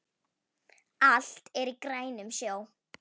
Allt er í grænum sjó